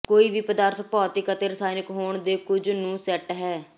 ਕੋਈ ਵੀ ਪਦਾਰਥ ਭੌਤਿਕ ਅਤੇ ਰਸਾਇਣਕ ਹੋਣ ਦੇ ਕੁਝ ਨੂੰ ਸੈੱਟ ਹੈ